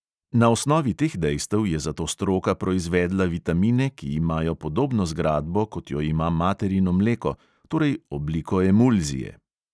Na osnovi teh dejstev je zato stroka proizvedla vitamine, ki imajo podobno zgradbo, kot jo ima materino mleko, torej obliko emulzije.